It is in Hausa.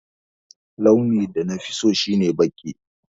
Launin da nafi so shi ne baƙi.